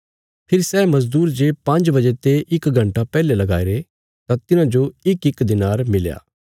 फेरी सै मजदूर जे पांज्ज बजे ते इक घण्टा पैहले कम्मा पर लगाईरे थे तां तिन्हांजो इकइक दिनार मिल्या